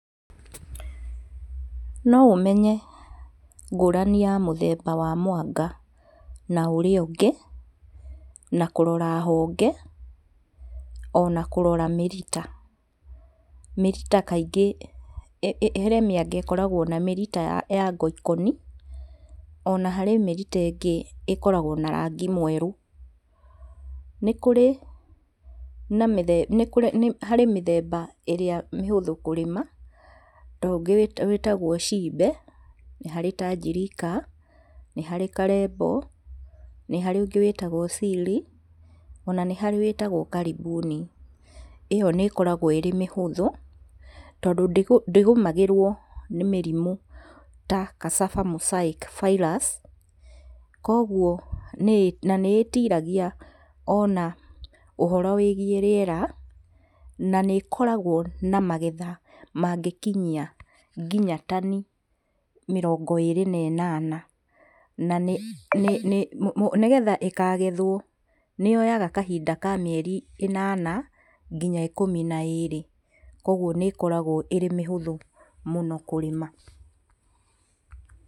No ũmenye ngũrani ya mũthemba mwanga na ũrĩa ũngĩ, na kũrora honge ona kũrora mĩrita. Mĩrita kaingĩ he mĩanga ĩkoragwo na mĩrita ya ngoikoni, ona harĩ mĩrita ĩngĩ ĩkoragwo na rangi mwerũ. Nĩ kũrĩ na mĩthemba nĩ harĩ mĩthemba ĩrĩa mĩhũthũ kũrĩma, ta ũngĩ ĩtagwo cimbe nĩ harĩ tanjirika nĩ harĩ karembo, nĩ harĩ ũngĩ wĩtagwo ciri, ona nĩ harĩ wĩtagwo karimbuni, ĩyo nĩĩkoragwo ĩrĩ mĩhũthũ tondũ ndĩgũmagĩrwo nĩ mĩrimũ ta cassava mosaic virus kuoguo na nĩĩtiragia ona ũhoro wĩgiĩ rĩera, na nĩĩkoragwo na magetha mangĩkinyia kinya tani mĩrongo ĩnana. Na nĩgetha ĩkagethwo nĩyoyaga kahinda ka mĩeri ĩnana kinya ikũmi na ĩrĩ, kuoguo nĩĩkoragwo ĩrĩ mĩhũthũ mũno kũrĩma.